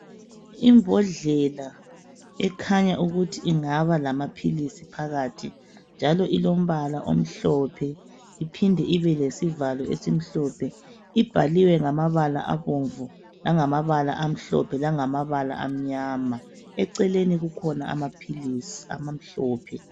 Imbodlela ekhanya ukuthi ingaba lamaphilisi phakathi njalo ilombala omhlophe iphinde ibe lesivalo esimhlophe. Ibhaliwe ngamabala abomvu, langamabala amhlophe, langamabala amnyama, eceleni kukhona amaphilisi amhlophe.